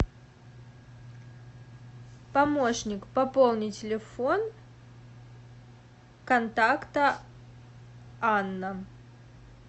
помощник пополни телефон контакта анна